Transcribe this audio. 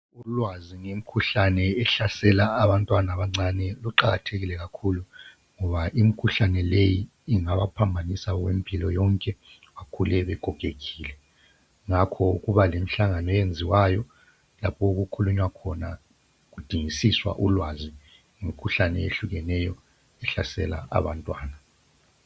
Ulwazi ngemikhuhlane ehlasela abantwana abancane luqakathekile kakhulu ngoba imkhuhlane leyi ingabaphambanisa okwempilo yonke bakhule begogekile. Ngakho kuba lemhlangano eyenziwayo lapho okukhulunywa khona kudingisiswa ulwazi ngemikhuhlane eyehlukeneyo ehlasela abantwana.